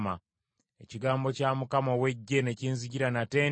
Ekigambo kya Mukama ow’Eggye ne kinzijira nate nti: